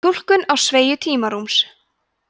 túlkun á sveigju tímarúms